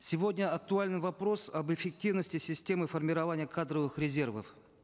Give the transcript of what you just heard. сегодня актуален вопрос об эффективности системы формирования кадровых резервов